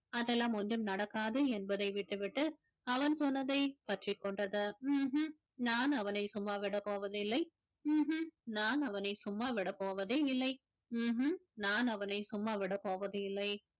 அதெல்லாம் ஒன்றும் நடக்காது என்பதை விட்டுவிட்டு அவன் சொன்னதை பற்றிக்கொண்டது உம் உம் நான் அவனை சும்மா விடப் போவதில்லை உம் உம் நான் அவனை சும்மா விடப் போவதே இல்லை உம் உம் நான் அவனை சும்மா விடப் போவதில்லை